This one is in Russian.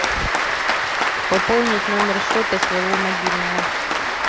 пополнить номер счета своего мобильного